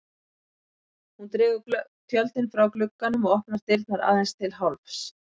Hún dregur tjöldin frá glugganum og opnar dyrnar aðeins til hálfs.